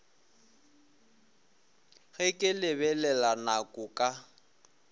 ge ke lebelela nako ka